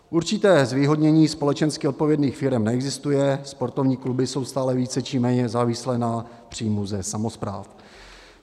Určité zvýhodnění společensky odpovědných firem neexistuje, sportovní kluby jsou stále více či méně závislé na příjmu ze samospráv.